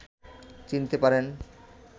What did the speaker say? চিনতে পারেন